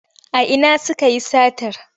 A ina sukayi satar?